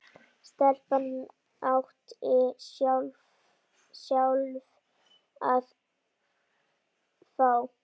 Stelpan átti sjálf að fá.